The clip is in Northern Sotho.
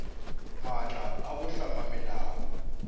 maatla a go hlama melao